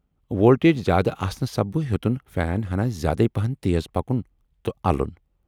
Voltage زیادٕ آسنہٕ سببہٕ ہیوتُن فین ہَنا زیادے پہن تیز پکُن تہٕ الُن۔